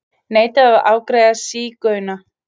Neitaði að afgreiða sígauna